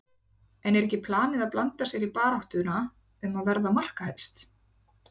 En er ekki planið að blanda sér í baráttuna um að verða markahæst?